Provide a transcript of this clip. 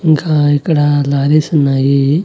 ఇంకా ఇక్కడ లారీస్ ఉన్నాయి.